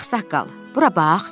Ağsaqqal, bura bax.